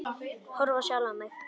Horfi á sjálfa mig.